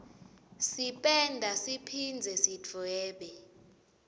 sipenda siphindze sidvwebe